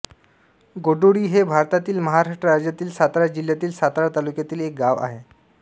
गोडोळी हे भारतातील महाराष्ट्र राज्यातील सातारा जिल्ह्यातील सातारा तालुक्यातील एक गाव आहे